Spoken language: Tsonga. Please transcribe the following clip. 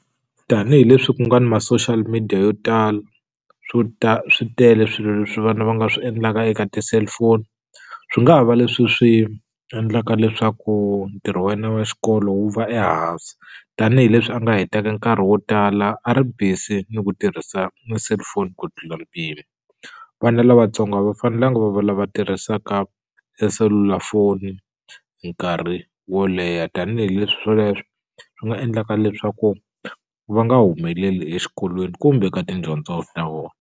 Tanihi leswi ku nga ni ma-social media yo tala swo ta swi tele swilo leswi vana va nga swi endlaka eka ti-cellphone swi nga ha va leswi swi endlaka leswaku ntirho wa yena wa xikolo wu va ehansi tanihileswi a nga hetaka nkarhi wo tala a ri busy ni ku tirhisa ni selufoni ku tlula mpimo vana lavatsongo a va fanelanga va va lava tirhisaka e selulafoni nkarhi wo leha tanihileswi swoleswo swi nga endlaka leswaku va nga humeleli exikolweni kumbe ka tidyondzo ta vona.